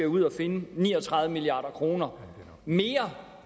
ud og finde ni og tredive milliard kroner mere